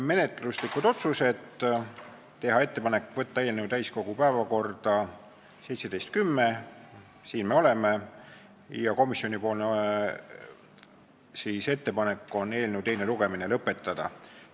Menetluslikud otsused: teha ettepanek võtta eelnõu täiskogu päevakorda 17. oktoobril ja komisjoni ettepanek on eelnõu teine lugemine lõpetada.